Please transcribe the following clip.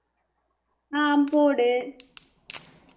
ஹம் போடு